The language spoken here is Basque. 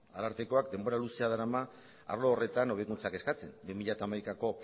arartekoak denbora luzea darama arlo horretan hobekuntzak eskatzen bi mila hamaikako